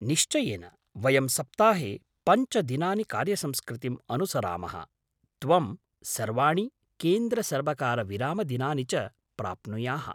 निश्चयेन, वयं सप्ताहे पञ्च दिनानि कार्यसंस्कृतिम् अनुसरामः, त्वं सर्वाणि केन्द्रसर्वकारविरामदिनानि च प्राप्नुयाः।